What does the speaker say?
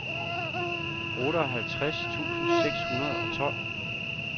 otteoghalvtreds tusind seks hundrede og tolv